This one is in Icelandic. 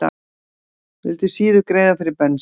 Vildi síður greiða fyrir bensín